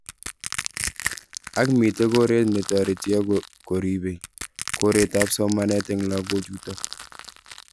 Ako mitei koret netareti ako koripei koret ab somanet eng lokok chutok.